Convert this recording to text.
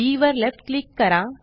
बी वर left click करा